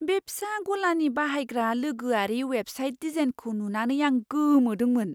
बे फिसा गलानि बाहायग्रा लोगोआरि वेबसाइट डिजाइनखौ नुनानै आं गोमोदोंमोन।